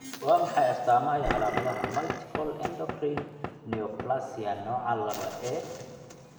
Waa maxay astaamaha iyo calaamadaha Multiple endocrine neoplasia nooca lawa A?